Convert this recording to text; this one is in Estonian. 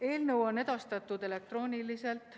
Eelnõu on edastatud elektrooniliselt.